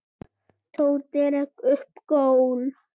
Tóti rak upp gól.